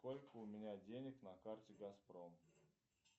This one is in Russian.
сколько у меня денег на карте газпром